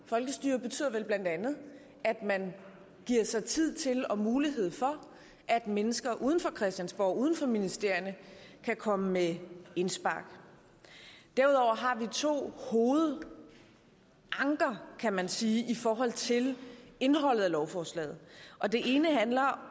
folkestyret betyder vel bla at man giver sig tid til og giver mulighed for at mennesker uden for christiansborg og uden for ministerierne kan komme med indspark derudover har vi to hovedanker kan man sige i forhold til indholdet af lovforslaget og det ene punkt handler